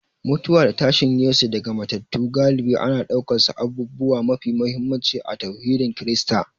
Mutuwa da tashin Yesu daga matattu galibi ana ɗaukarsu abubuwa mafi muhimmanci a tauhidin Kirista